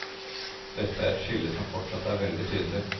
Dette er et skille som fortsatt er veldig tydelig.